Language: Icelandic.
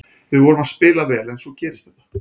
Við vorum að spila vel en svo gerist þetta.